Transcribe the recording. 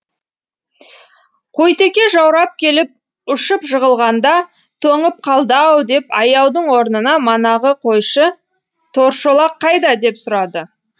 қойтеке жаурап келіп ұшып жығылғанда тоңып қалды ау деп аяудың орнына манағы қойшы торшолақ қайда деп сұрады